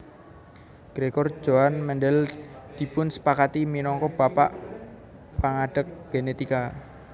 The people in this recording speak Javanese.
Gregor Johann Mendel dipunsepakati minangka Bapak Pangadeg Genetika